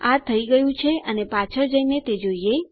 આ થઇ ગયું અને પાછળ જઈને તે જોઈએ